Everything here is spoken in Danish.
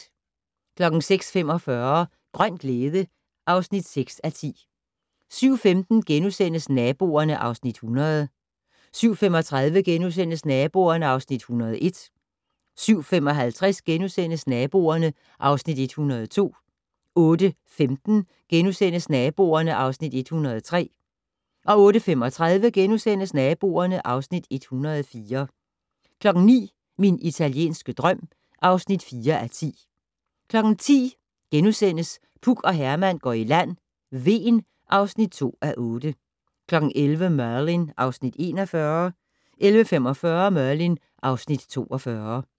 06:45: Grøn glæde (6:10) 07:15: Naboerne (Afs. 100)* 07:35: Naboerne (Afs. 101)* 07:55: Naboerne (Afs. 102)* 08:15: Naboerne (Afs. 103)* 08:35: Naboerne (Afs. 104)* 09:00: Min italienske drøm (4:10) 10:00: Puk og Herman går i land - Hven (2:8)* 11:00: Merlin (Afs. 41) 11:45: Merlin (Afs. 42)